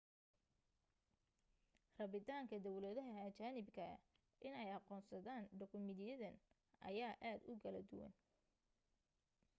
rabitaanka dawladaha ajnabiga inay aqoonsadaan dukumeentiyadan ayaa aad u kala duwan